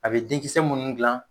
A bɛ denkisɛ munnu dilan.